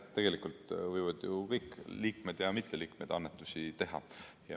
Jah, tegelikult võivad ju kõik liikmed ja mitteliikmed annetusi teha.